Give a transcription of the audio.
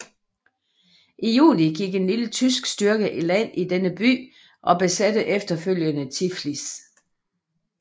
I juni gik en lille tysk styrke i land i denne by og besatte efterfølgende Tiflis